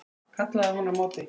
kallaði hún á móti.